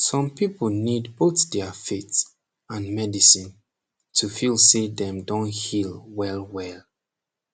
som people need both dia faith and medicine to feel say dem don heal welwel